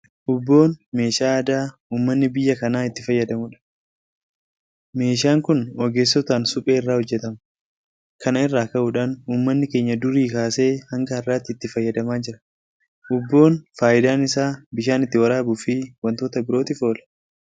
Uubboon meeshaa aadaa uummanni biyya kanaa itti fayyadamudha. Meeshaan kun ogeessotaan Suphee irraa hojjetama. Kana irraa ka'uudhaan uummanni keenya durii kaasee hanga har'aatti itti fayyadamaa jira. Uubboon faayidaan isaa bishaan ittiin waraabuufi waantota birootiif oola.